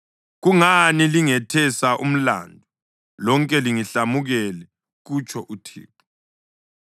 Kungani lingethesa umlandu? Lonke lingihlamukele,” kutsho uThixo.